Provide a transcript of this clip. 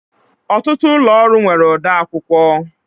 Ọtụtụ ụlọ ọrụ nwere odeakwụkwọ